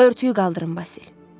Örtüyü qaldırın, Basil.